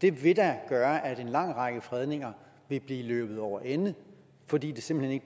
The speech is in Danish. det vil da gøre at en lang række fredninger vil blive løbet over ende fordi det simpelt hen